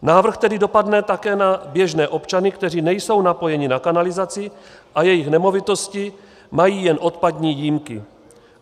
Návrh tedy dopadne také na běžné občany, kteří nejsou napojeni na kanalizaci a jejichž nemovitosti mají jen odpadní jímky.